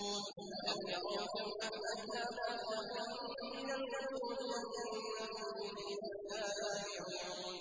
أَلَمْ يَرَوْا كَمْ أَهْلَكْنَا قَبْلَهُم مِّنَ الْقُرُونِ أَنَّهُمْ إِلَيْهِمْ لَا يَرْجِعُونَ